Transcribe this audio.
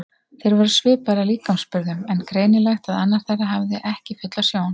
Þeir voru svipaðir að líkamsburðum en greinilegt að annar þeirra hafði ekki fulla sjón.